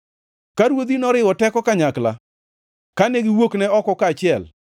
Ka ruodhi noriwo teko kanyakla, kane giwuokne oko kaachiel,